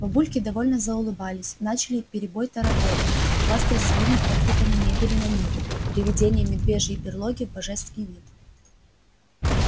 бабульки довольно заулыбались начали перебой тараторить хвастаясь своими подвигами мебели на ниве приведения медвежьей берлоги в божеский вид